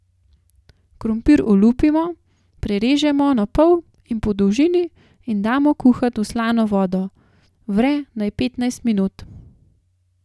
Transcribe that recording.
Krompir olupimo, prerežemo na pol po dolžini in damo kuhat v slano vodo, vre naj petnajst minut.